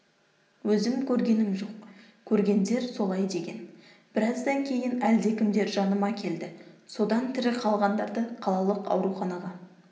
өзім көргенім жоқ көргендер солай деген біраздан кейін әлдекімдер жаныма келді содан тірі қалғандарды қалалық ауруханаға